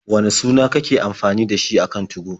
Wane suna kake amfani da shi a kan 2go?